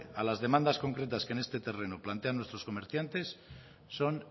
a las demandas concretas que en terreno plantean nuestros comerciantes son